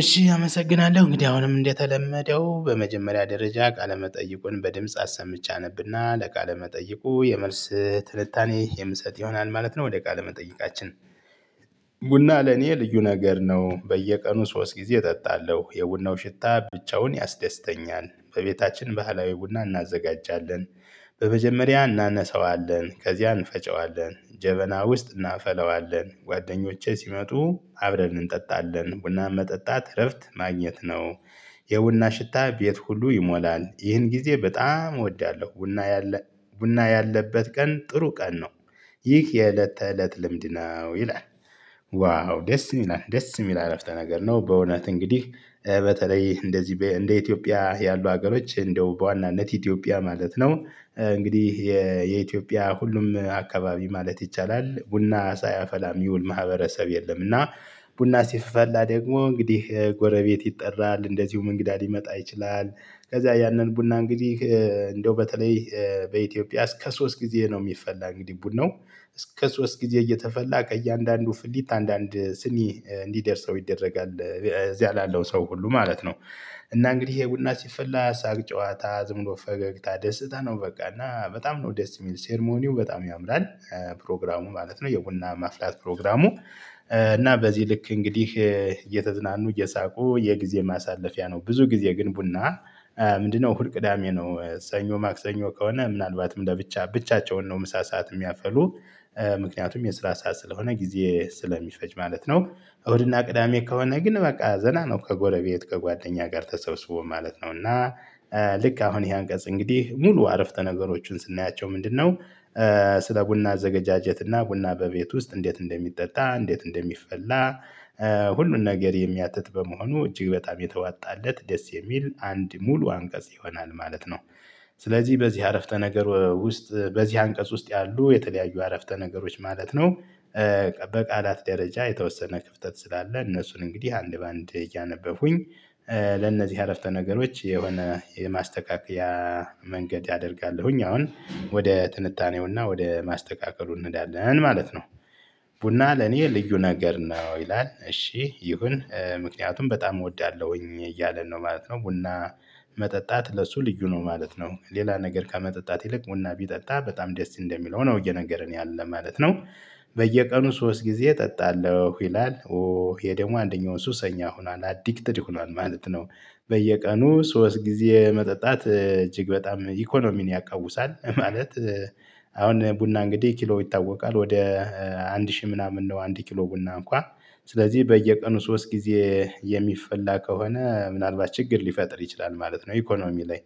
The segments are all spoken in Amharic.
እሺ አመሰግናለሁ እንግዲህ አሁንም እንደተለመደው በመጀመሪያ ደረጃ ቃለ መጠይቁን በድምጽ አሰምቼ አነብና ለቃለ መጠይቁ የመልስ ትንታኔ የምሰጥ ይሆናል ማለት ነው። ወደ ቃለ መጠይቃችን። ቡና ለኔ ልዩ ነገር ነው በየቀኑ ሶስት ጊዜ እጠጣለሁ የቡናው ሽታ ብቻውን ያስደስተኛል በቤታችን ባህላዊ ቡና እናዘጋጃለን። በመጀመሪያ እናነሳዋለን ከዚያ እንፈጨዋለን ጀበና ውስጥ እናፈለዋለን ጓደኞቼ ሲመጡ አብረን እንጠጣለን ቡና መጠጣት እረፍት ማግኘት ነው። የቡና ሽታ ቤት ሁሉ ይሞላል ይህን ጊዜ በጣም እወዳለሁ። ቡና ያለ ቡና ያለበት ቀን ጥሩ ቀን ነው። ይህ የእለት ተእለት ልምድ ነው ይላል። ዋው ደስ ይላል ደስ የሚል አረፍተ ነገር ነው። በእውነት እንግዲህ በተለይ እንደዚህ እንደ ኢትዮጵያ ያሉ ሀገሮች እንደው በዋናነት ኢትዮጵያ ማለት ነው። እንግዲህ የኢትዮጵያ ሁሉም አካባቢ ማለት ይቻላል ቡና ሳያፈላ እሚውል ማህበረሰብ የለም። እና ቡና ሲፈላ ደግሞ እንግዲህ ጎረቤት ይጠራል እንደዚሁም እንግዳ ሊመጣ ይችላል። ከዛ ያንን ቡና እንግዲህ እንደው በተለይ በኢትዮጵያ እስከ ሶስት ጊዜ ነው የሚፈላ እንግዲህ ቡድን ነው። እስከ ሶስት ጊዜ እየተፈላ ከእያንዳንዱ ፍሊት አንዳንድ ስኒ እንዲደርሰው ይደረጋል እዚህ አላለው ሰው ሁሉ ማለት ነው። እና እንግዲህ ይሄ ቡና ሲፈላ ሳቅ ጨዋታ ዝም ብሎ ፈገግታ ደስታ ነው። በቃ እና በጣም ነው ደስ የሚል ሴርሞኒው በጣም ያምራል። ፕሮግራሙ ማለት ነው የቡና ማፍላት ፕሮግራሙ። እና በዚህ ልክ እንግዲህ እየተዝናኑ እየሳቁ የጊዜ ማሳለፊያ ነው። ብዙ ጊዜ ግን ቡና ምንድነው? ሁል ቅዳሜ ነው ሰኞ ማክሰኞ ከሆነ ምናልባትም ለብቻ ብቻቸውን ነው ምሳ ሰዓት የሚያፈሉ። ምክንያቱም የስራ ሰዓት ስለሆነ ጊዜ ስለሚፈጅ ማለት ነው። እሁድና ቅዳሜ ከሆነ ግን በቃ ዘና ነው ከጎረቤት ከጓደኛ ጋር ተሰብስቦ ማለት ነው እና። ልክ አሁን ይሄ አንቀጽ እንግዲህ ሙሉ አረፍተ ነገሮችን ስናያቸው ምንድነው? ስለ ቡና ዘገጃጀት እና ቡና በቤት ውስጥ እንዴት እንደሚጠጣ እንዴት እንደሚፈላ። ሁሉን ነገር የሚያትት በመሆኑ እጅግ በጣም የተዋጣለት ደስ የሚል አንድ ሙሉ አንቀጽ ይሆናል ማለት ነው። ስለዚህ በዚህ አረፍተ ነገር ውስጥ በዚህ አንቀጽ ውስጥ ያሉ የተለያዩ አረፍተ ነገሮች ማለት ነው። በቃላት ደረጃ የተወሰነ ክፍተት ስላለ እነሱን እንግዲህ አንድ በአንድ እያነበብኩኝ። ለነዚህ አረፍተ ነገሮች የሆነ የማስተካከያ መንገድ ያደርጋለሁኝ። አሁን ወደ ትንታኔውና ወደ ማስተካከሉ እንዳለን ማለት ነው። ቡና ለኔ ልዩ ነገር ነው ይላል እሺ ይሁን ምክንያቱም በጣም እወዳለሁኝ እያለን ነው ማለት ነው። ቡና መጠጣት ለሱ ልዩ ነው ማለት ነው ሌላ ነገር ከመጠጣት ይልቅ ቡና ቢጠጣ በጣም ደስ እንደሚለው ነው እየነገረን ያለን ማለት ነው። በየቀኑ ሶስት ጊዜ እጠጣለሁ ይላል ኦ ይሄ ደግሞ አንደኛው ሱሰኛ ሆኗል አዲክትድ ሆኗል ማለት ነው። በየቀኑ ሶስት ጊዜ መጠጣት እጅግ በጣም ኢኮኖሚን ያቃውሳል ማለት። አሁን ቡና እንግዲህ ኪሎው ይታወቃል ወደ አንድ ሺህ ምናምን ነው አንድ ኪሎ ቡና እንኳን ስለዚህ በየቀኑ ሶስት ጊዜ የሚፈላ ከሆነ ምናልባት ችግር ሊፈጥር ይችላል ማለት ነው። ኢኮኖሚ ላይ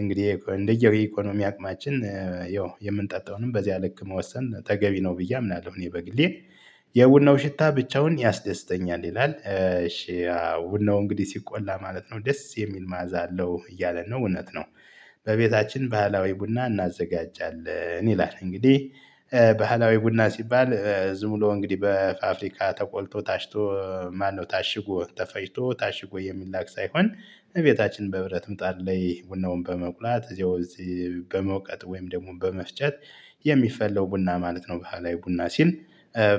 እንግዲህ እንደየው የኢኮኖሚ አቅማችን ያው የምንጠጣውንም በዚህ ልክ መወሰን ተገቢ ነው ብዬ አምናለሁ እኔ በግሌ። የቡናው ሽታ ብቻውን ያስደስተኛል ይላል እሺ ውነው እንግዲህ ሲቆላ ማለት ነው ደስ የሚል ማዕዛ አለው እያለ ነው እውነት ነው። በቤታችን ባህላዊ ቡና እናዘጋጃለን ይላል። እንግዲህ ባህላዊ ቡና ሲባል ዝም ብሎ እንግዲህ በፋፍሪካ ተቆልቶ ታሽቶ ማነው ታሽጎ ተፈጭቶ ታሽጎ የሚላክ ሳይሆን እቤታችን በህብረት ምጣር ላይ ቡናውን በመቁላት እዚያው እዚህ በመውቀጥ ወይም ደግሞ በመፍጨት። የሚፈለው ቡና ማለት ነው። በኋላ ላይ ቡና ሲል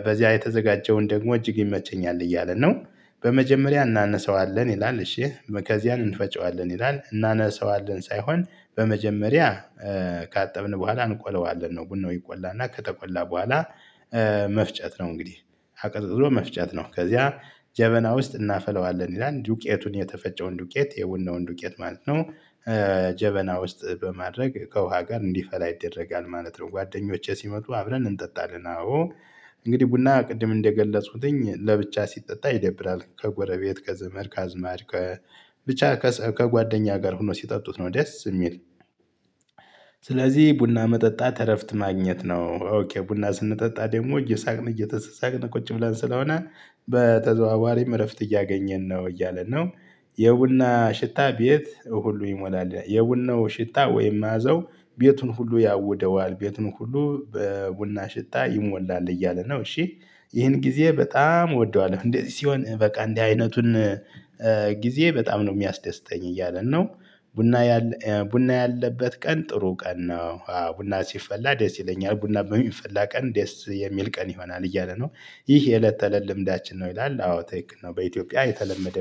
በዚያ የተዘጋጀውን ደግሞ እጅግ ይመጨኛል እያለ ነው። በመጀመሪያ እናነሳዋለን ይላል እሺ ከዚያን እንፈጪዋለን ይላል። እናነሳዋለን ሳይሆን በመጀመሪያ ካጠብን በኋላ እንቆለዋለን ነው ቡናው ይቆላና ከተቆላ በኋላ። መፍጨት ነው እንግዲህ አቅጥጥጦ መፍጨት ነው። ከዚያ ጀበና ውስጥ እናፈለዋለን ይላል። ዱቄቱን የተፈጨውን ዱቄት የውናውን ዱቄት ማለት ነው። ጀበና ውስጥ በማድረግ ከውሃ ጋር እንዲፈላ ይደረጋል ማለት ነው። ጓደኞቼ ሲመጡ አብረን እንጠጣለን አዎ። እንግዲህ ቡና ቅድም እንደገለጹትኝ ለብቻ ሲጠጣ ይደብራል ከጎረቤት ከዘመድ ከአዝማድ ከብቻ ከጓደኛ ጋር ሆኖ ሲጠጡት ነው ደስ የሚል። ስለዚህ ቡና መጠጣት እረፍት ማግኘት ነው። ቡና ስንጠጣ ደግሞ እየሳቅን እየተሳሳቅን ቁጭ ብለን ስለሆነ በተዘዋዋሪም እረፍት እያገኘን ነው እያለ ነው። የቡና ሽታ ቤት ሁሉ ይሞላል የቡናው ሽታ ወይም ማዘው ቤቱን ሁሉ ያውደዋል ቤቱን ሁሉ በቡና ሽጣ ይሞላል እያለ ነው። እሺ ይህን ጊዜ በጣም እወደዋለሁ እንዴ እንደዚህ ሲሆን በቃ እንዲህ አይነቱን ጊዜ በጣም ነው የሚያስደስተኝ እያለን ነው። ቡና ቡና ያለበት ቀን ጥሩ ቀን ነው ቡና ሲፈላ ደስ ይለኛል ቡና በሚፈላ ቀን ደስ የሚል ቀን ይሆናል እያለ ነው። ይህ የእለት ተለል ልምዳችን ነው ይላል አዎ ተይክን ነው በኢትዮጵያ የተለመደ